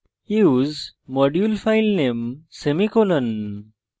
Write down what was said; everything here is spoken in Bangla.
use modulefilename semicolon